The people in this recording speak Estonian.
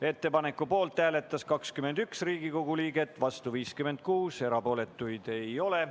Ettepaneku poolt hääletas 21 Riigikogu liiget, vastu 56, erapooletuid ei ole.